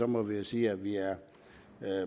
må vi sige at vi er